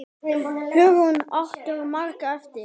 Hugrún: Áttirðu margar eftir?